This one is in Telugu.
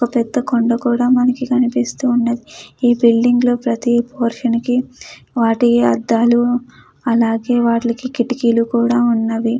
ఒ పెద్ద కొండ కూడా మనకి కనిపిస్తూ ఉన్నది ఈ బిల్డింగ్ లో ప్రతి పోర్షన్ కి వాటి అద్దాలు అలాగే వాటిలకి కిటికీలు కూడా ఉన్నవి.